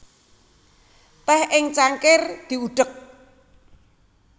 Teh ing cangkir diudek